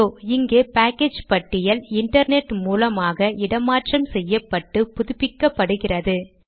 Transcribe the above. இதோ இங்கே பேக்கேஜ் பட்டியல் இன்டர்நெட் மூலமாக இடமாற்றம் செய்யப்பட்டு புதுப்பிக்கப்படுகிறது